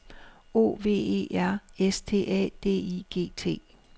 O V E R S T A D I G T